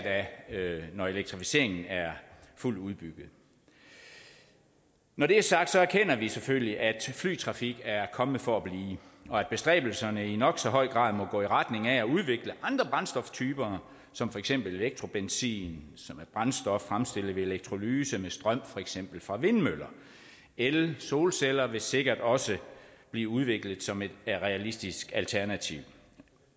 når elektrificeringen er fuldt udbygget når det er sagt erkender vi selvfølgelig at flytrafik er kommet for at blive og at bestræbelserne i nok så høj grad må gå i retning af at udvikle andre brændstoftyper som for eksempel elektrobenzin som er brændstof fremstillet ved elektrolyse med strøm for eksempel fra vindmøller el solceller vil sikkert også blive udviklet som et realistisk alternativ